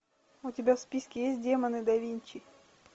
у тебя в списке есть демоны да винчи